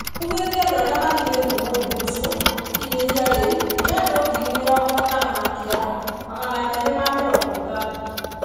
Augĩte andũ arĩa mathimĩtwo mũrimũ ũcio gũkinyia rĩu ni andũ ngiri mĩrongo itano na kenda, magana merĩ na mĩrongo itandatũ.